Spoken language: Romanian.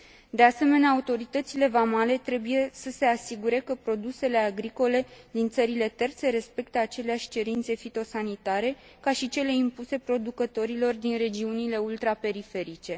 De asemenea, autoritățile vamale trebuie să se asigure că produsele agricole din țările terțe respectă aceleași cerințe fitosanitare ca și cele impuse producătorilor din regiunile ultraperiferice.